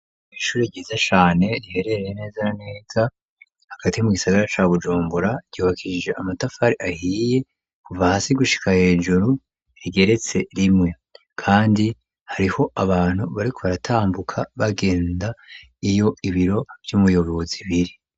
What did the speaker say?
Ishuri ryiza cane riherereye neza neza hagati mu gisagara ca Bujumbura, ryubakijije amatafari ahiye kuva hasi gushika hejuru rigeretse rimwe, kandi hariho abantu bariko baratambuka bagenda iyo ibiro vy'umuyobozi biri.